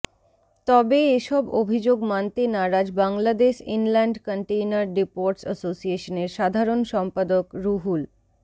তবে এসব অভিযোগ মানতে নারাজ বাংলাদেশ ইনল্যান্ড কন্টেইনার ডিপোটস অ্যাসোসিয়েশনের সাধারণ সম্পাদক রুহুল